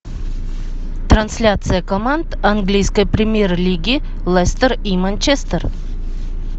трансляция команд английской премьер лиги лестер и манчестер